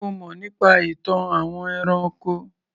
Ṣé o mọ̀ nípa ìtàn àwọn ẹranko?